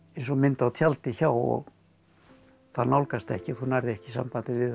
eins og mynd á tjaldi hjá og það nálgast ekki og þú nærð ekki sambandi við